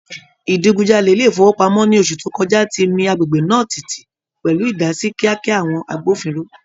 Ìdigunjalè ilé ìfowópamọ́ ní oṣù tó kọjá ti mi agbègbè náà tìtì, pẹ̀lú ìdásí kíákíá àwọn agbófinró.